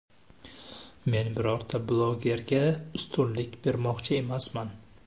Men birorta blogerga ustunlik bermoqchi emasman.